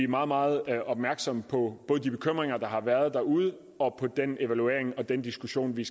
meget meget opmærksomme på de bekymringer der har været derude og på den evaluering og den diskussion vi